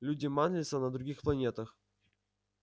люди манлиса на других планетах